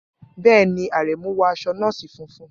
Bẹ́ẹ̀ ni, Aremu wọ aṣọ nọ́ọ̀sì funfun.